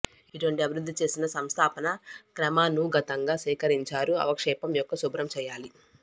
ఇటువంటి అభివృద్ధిచేసిన సంస్థాపన క్రమానుగతంగా సేకరించారు అవక్షేపం యొక్క శుభ్రం చేయాలి